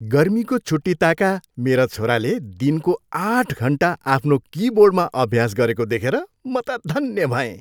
गर्मीको छुट्टी ताका मेरा छोराले दिनको आठ घन्टा आफ्नो किबोर्डमा अभ्यास गरेको देखेर म त धन्य भएँ।